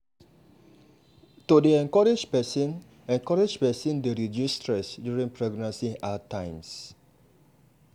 to dey encourage person encourage person dey reduce stress during pregnancy hard times.